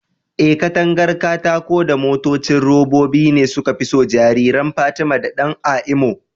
Eh, katangar katako da motocin robobi ne suka fi so jariran Fatima da Dan a Imo.